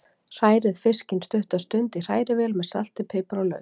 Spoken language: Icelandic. Hrærið fiskinn stutta stund í hrærivél með salti, pipar og lauk.